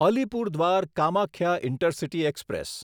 Alipurduar Kamakhya intercity express